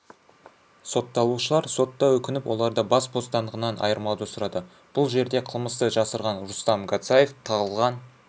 сотталушылар сотта өкініп оларды бас бостандығынан айырмауды сұрады бұл жерде қылмысты жасырған рустам гацаев тағылған